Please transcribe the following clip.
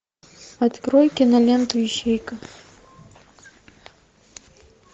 открой киноленту ищейка